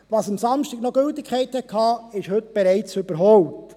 Was am Samstag noch Gültigkeit hatte, ist heute bereits überholt.